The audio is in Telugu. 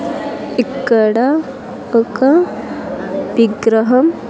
ఇక్కడ ఒక విగ్రహం.